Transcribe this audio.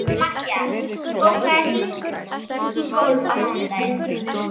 Mattías, bókaðu hring í golf á mánudaginn.